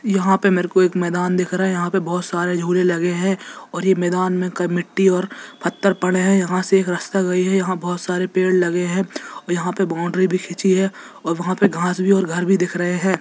यहां पे मेरे को एक मैदान दिख रहे है यहां पर बहुत सारे झूले लगे हैं और यह मैदान में कब मिट्टी और पत्थर पड़े हैं यहां से एक रास्ता गई है यहां बहुत सारे पेड़ लगे हैं यहां पर बाउंड्री भी खींची है और वहां पर घास भी और घर भी दिख रहें हैं।